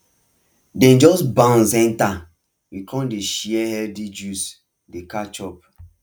dem just bounce enter we come dey share healthy juice dey catch up